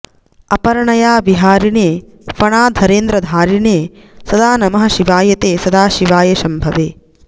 अपर्णया विहारिणे फणाधरेन्द्रधारिणे सदा नमः शिवाय ते सदाशिवाय शम्भवे